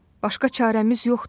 Başqa çarəmiz yoxdur.